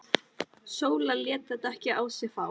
Sóla lét þetta ekki á sig fá.